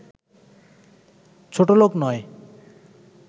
ছোটলোক নয়